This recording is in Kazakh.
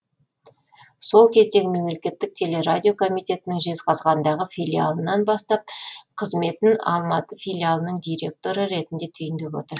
сол кездегі мемлекеттік телерадио комитетінің жезқазғандағы филиалынан бастап қызметін алматы филиалының директоры ретінде түйіндеп отыр